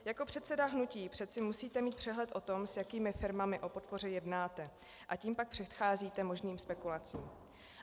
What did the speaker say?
Jako předseda hnutí přeci musíte mít přehled o tom, s jakými firmami o podpoře jednáte, a tím pak předcházíte možným spekulacím.